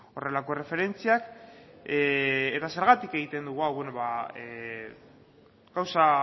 horrelako erreferentziak eta zergatik egiten dugu hau bueno ba gauza